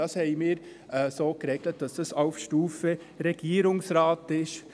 Wir haben es so geregelt, dass es auf Stufe Regierungsrat ist.